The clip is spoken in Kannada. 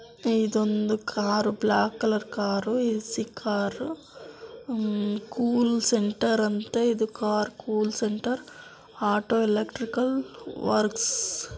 ಇದೊಂದು car black colour car A C car hmm cool centre ಅಂತೆ ಇದು car cool centre auto electrical works--